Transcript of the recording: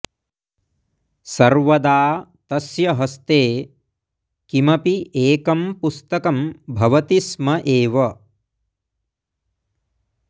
सर्वदा तस्य् हस्ते किमपि एकं पुस्तकं भवति स्म एव